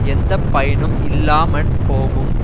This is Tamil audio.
எந்த பயனும் இல்லாம போகும்